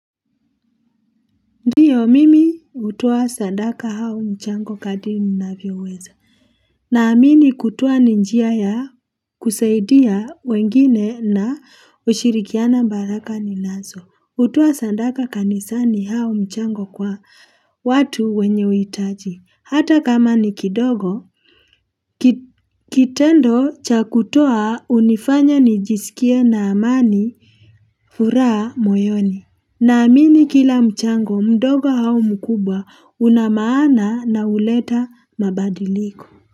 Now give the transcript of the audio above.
Ndiyo mimi utoa sandaka au mchango kadri nina vyo weza. Na amini kutoa ni njia ya kusaidia wengine na ushirikiana mbaraka ni naso. Utoa sandaka kanisa ni au mchango kwa watu wenye uitaji. Hata kama ni kidogo, kitendo cha kutoa unifanya nijisikie na amani furaha moyoni. Na amini kila mchango mdogo au mkubwa unamaana na uleta mabadiliko.